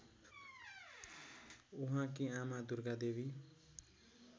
उहाँकी आमा दुर्गादेवी